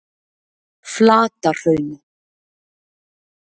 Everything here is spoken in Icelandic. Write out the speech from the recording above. Flatahrauni